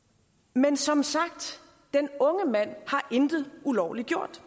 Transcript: men som sagt den unge mand har intet ulovlig gjort